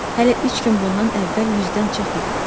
Hələ üç gün bundan əvvəl 100-dən çox idi.